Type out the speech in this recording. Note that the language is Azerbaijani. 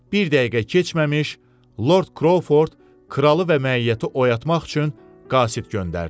Bir dəqiqə keçməmiş, Lord Krouford kralı və məiyyəti oyatmaq üçün qasid göndərdi.